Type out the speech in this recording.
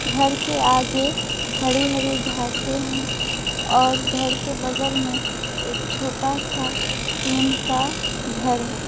घर के आगे हरी हरी घासे हैं और घर के बगल में एक छोटा सा टीन का घर है।